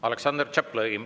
Aleksandr Tšaplõgin.